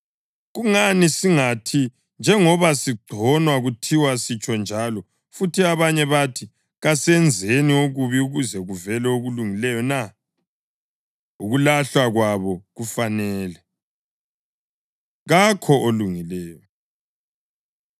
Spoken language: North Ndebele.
Kungani singathi njengoba sigconwa kuthiwa sitsho njalo futhi abanye bathi “Kasenzeni okubi ukuze kuvele okulungileyo na?” Ukulahlwa kwabo kufanele. Kakho Olungileyo